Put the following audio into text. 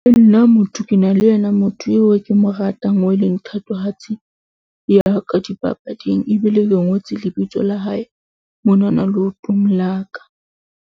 Nna motho ke na le yena motho eo ke mo ratang, oo e leng thatohatsi ya ka dipapading ebile le ngotswe lebitso la hae mona na leotong la ka.